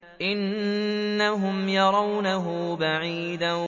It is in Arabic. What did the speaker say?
إِنَّهُمْ يَرَوْنَهُ بَعِيدًا